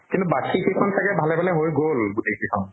কিন্তু বাকী কেইখন চাগে ভালে ভালে হৈ গল গোটেই কেইখন